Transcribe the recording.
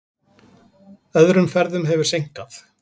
Öðrum ferðum hefur seinkað.